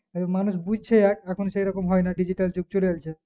মানুষ বাজছে এক এখন সেরকম হয় না digital যুগ চলে আলছে